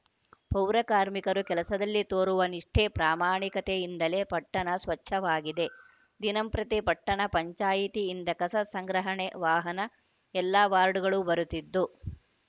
ಪೌರಕಾರ್ಮಿರು ಕೆಲಸದಲ್ಲಿ ತೋರುವ ನಿಷ್ಠೆ ಪ್ರಾಮಾಣಿಕತೆಯಿಂದಲೇ ಪಟ್ಟಣ ಸ್ವಚ್ಛವಾಗಿದೆ ದಿನಂಪ್ರತಿ ಪಟ್ಟಣ ಪಂಚಾಯಿತಿಯಿಂದ ಕಸ ಸಂಗ್ರಹಣೆ ವಾಹನ ಎಲ್ಲ ವಾರ್ಡ್‌ಗಳಿಗೂ ಬರುತ್ತಿದ್ದು